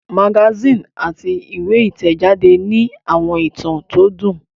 Magasíìnì àti ìwé ìtẹ̀jáde ní àwọn ìtàn tó dùn